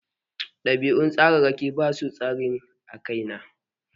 Ɗabi'un tsararraki ba su tasiri a kai na.